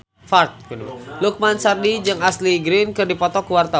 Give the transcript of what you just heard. Lukman Sardi jeung Ashley Greene keur dipoto ku wartawan